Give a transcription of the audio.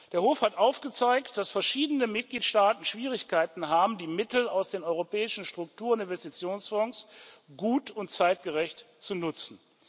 Der Hof hat aufgezeigt, dass verschiedene Mitgliedstaaten Schwierigkeiten haben, die Mittel aus den Europäischen Struktur und Investitionsfonds gut und zeitgerecht zu nutzen.